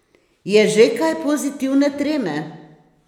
Je že kaj pozitivne treme?